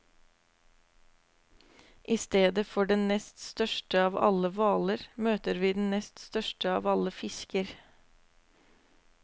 I stedet for den nest største av alle hvaler, møter vi den nest største av alle fisker.